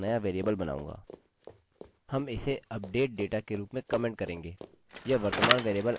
और जिसे हम पैरामीटर के अंदर ला रहे हैं खुद mysql query कोड है